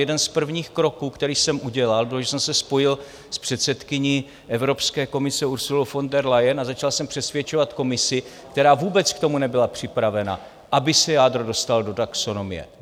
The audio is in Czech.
Jeden z prvních kroků, který jsem udělal, bylo, že jsem se spojil s předsedkyní Evropské komise Ursulou von der Leyen a začal jsem přesvědčovat Komisi, která vůbec k tomu nebyla připravena, aby se jádro dostal do taxonomie.